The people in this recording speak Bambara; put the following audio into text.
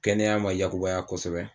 Kɛnɛya ma yakubaya kosɛbɛ